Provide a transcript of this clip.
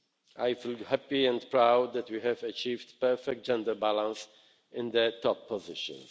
I feel happy and proud that we have achieved perfect gender balance in the top positions.